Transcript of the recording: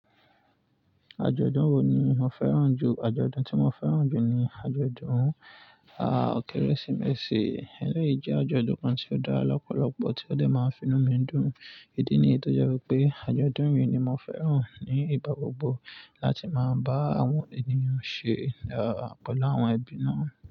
Àjọ̀dún wo ni ò fẹ́ràn jù? Àjọ̀dún tí mo fẹ́ràn jù ni àjọ̀dún, ah, Kérésìmesì. Elẹ́yìí jẹ́ àjọ̀dún kan tí ó dára lọ́pọ̀lọpọ̀ tí ó dẹ máa finú mi dùn. Idi niyi tó jẹ́ pé àjọ̀dún yìí ni mo fẹ́ràn ní ìgbà gbogbo láti máa bá àwọn ènìyàn ṣe, ah, pẹlu awọn ẹbí náà.